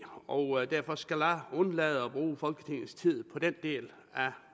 og derfor skal jeg undlade at bruge folketingets tid på den del